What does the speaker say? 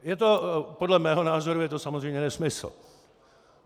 Podle mého názoru je to samozřejmě nesmysl.